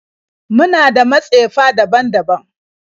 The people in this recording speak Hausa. Muna da matsefa daban-daban